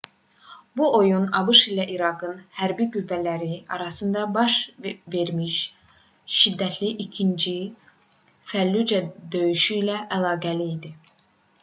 bu oyun abş ilə i̇raqın hərbi qüvvələri arasında baş vermiş şiddətli i̇kinci fəllucə döyüşü ilə əlaqəli idi